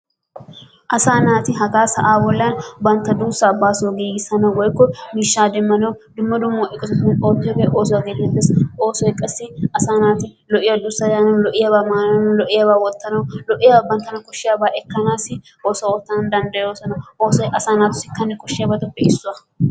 Asaa naati hagaa sa'aa bollan bantta duussaa baaso giigisanawu woikko miishshaa demanawu dumma dumma eqotatun oottiyogee oosuwa gettetees. Oosoy qassi asaa naati lo'iya duussaa daanawu lo'iyaabaa maanawu lo'iyaabaa wottanawu lo'iyaaba banttana koshshiyabaa ekanaassi oosuwa ootanaa danddayoosona. Oosoy qassi asa naatussi kane koshshiyabaatuppee issuwa.